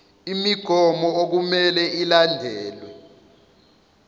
imigomo okumele ilandelwe